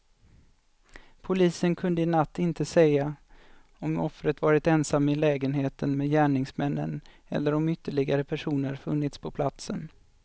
Polisen kunde i natt inte säga om offret varit ensam i lägenheten med gärningsmännen eller om ytterligare personer funnits på platsen.